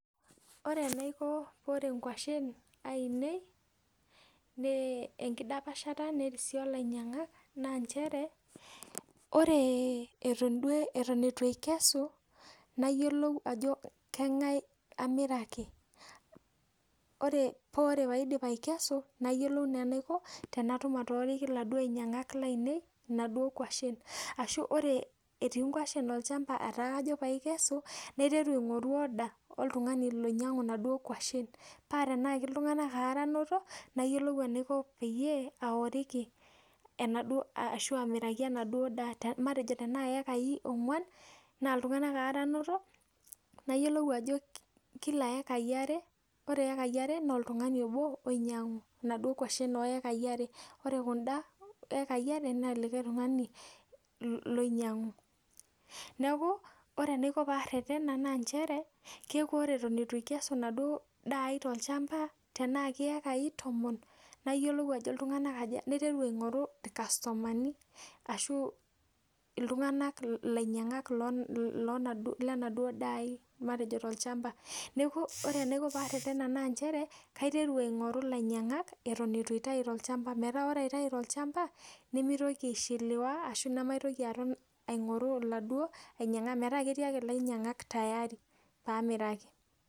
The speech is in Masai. Ore enaiko pee ore inkwashen ainei enkidapashata nerisio o lainyang'ak naa nchere, ore eton etu aikesu nayiolou ajo keng'ae amiraki. Paa ore paadim aikesu nayiolou naa enaiko paatum atooriki iladuo ainyang'ak lainei inaduo kwashen. Ashu ore etii inkwashen olchamba etaa kajo paaikesu, naiteru aing'oru order oltung'ani oinyang'u inaduo kwashen paa tenaaki iltung'anak aare anoto, nayiolou enaiko peyie aoriki enaduo ashu amiraki enaduo daa matejo tenaa iyekai ong'wan naa iltung'anak aare, nayiolou ajo kila iyekai are, ore iyekai are oltung'ani obo oinyang'u inaduo kwashen oo ekai are. Ore kunda ekai are naa likae tung'ani loinyang'u. Neeku ore enaiko paarretena naa nchere, keeku ore eton etu aikesu enaduo daai tolchamba naaki iyekai tomon, nayiolou ajo iltung'anak aja aiteru aing'oru irkastomani ashu iltung'anak ilainyang'ak lenaduo daa ai matejo tolchamba. Neeku ore enaiko paarretena naa nchere, kaiteru aing'oru ilainyang'ak eton etu aitai tolchamba meeta ore aitai tolchamba nemitoki aishiliwa ashu nemaitoki aton aing'oru iladuo ainyang'ak. Metaa ketii ake ilainyang'ak tayari paamiraki